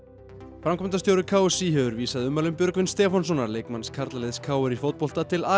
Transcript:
framkvæmdastjóri k s í hefur vísað ummælum Björgvins Stefánssonar leikmanns karlaliðs k r í fótbolta til